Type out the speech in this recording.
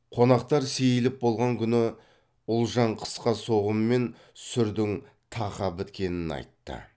қонақтар сейіліп болған күні ұлжан қысқы соғым мен сүрдің тақа біткенін айтты